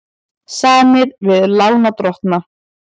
Samið við lánardrottna